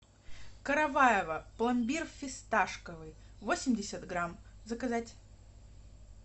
караваево пломбир фисташковый восемьдесят грамм заказать